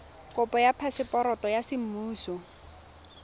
kopo ya phaseporoto ya semmuso